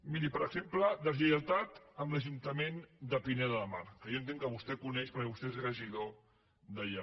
miri per exemple deslleialtat amb l’ajuntament de pineda de mar que jo entenc que vostè coneix perquè vostè és regidor d’allà